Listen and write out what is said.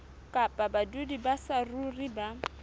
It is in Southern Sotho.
kapa badudi ba saruri ba